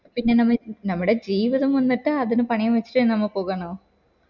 പിന്നെ നമ് നമ്മടെ ജീവിതം വന്നിട്ട് അതിനു പണിയാന്ന് വച്ചിട് നമ്മ പോവണോ